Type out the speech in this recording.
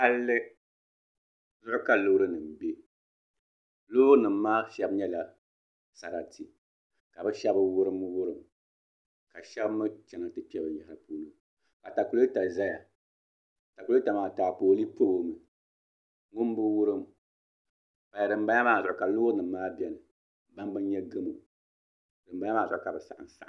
Palli zuɣu ka loori nim bɛ loori nim maa shab nyɛla saratu ka bi shab wurim wurim ka shab mii kana ti kpɛ bi niatakulɛta ʒɛya atakulɛta maa taapooli pilo mi ŋun bi wurim dinbala maa zuɣu ka loori nim maa biɛni ban bi nyɛ gamo dinbala maa zuɣu ka di saɣam saɣam